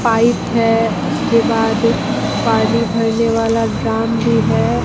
Pipe है उसके बाद पानी भरने वाला ड्रम भी है।